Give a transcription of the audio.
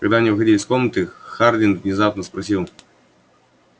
когда они выходили из комнаты хардин внезапно спросил